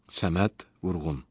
Səməd Vurğun.